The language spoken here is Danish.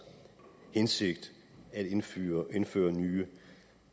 hensigt at indføre indføre nye